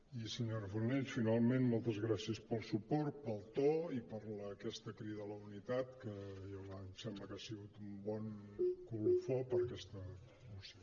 i senyora fornells finalment moltes gràcies pel suport pel to i per aquesta crida a la unitat que em sembla que ha sigut un bon colofó per a aquesta moció